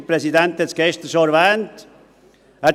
Der Präsident hat es gestern schon erwähnt.